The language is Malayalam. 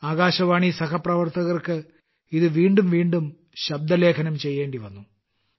ആകാശവാണി സഹപ്രവർത്തകർക്ക് ഇത് വീണ്ടും വീണ്ടും ശബ്ദലേഖനം ചെയ്യേണ്ടിവന്നു